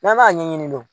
N'an b'a ɲɛɲini